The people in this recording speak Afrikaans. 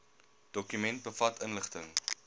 dokument bevat inligting